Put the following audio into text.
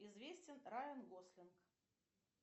известен райан гослинг